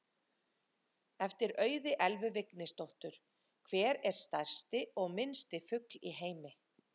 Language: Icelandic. Eftir Auði Elvu Vignisdóttur: Hver er stærsti og minnsti fugl í heimi?